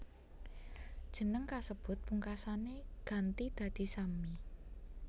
Jeneng kasebut pungkasané ganti dadi Sammi